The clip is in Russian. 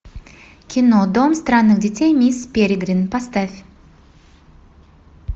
кино дом странных детей мисс перегрин поставь